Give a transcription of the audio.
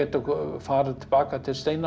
farið til baka til